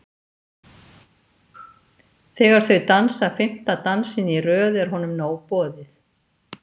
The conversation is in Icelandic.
Þegar þau dansa fimmta dansinn í röð er honum nóg boðið.